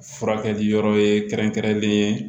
Furakɛli yɔrɔ ye kɛrɛnkɛrɛnlen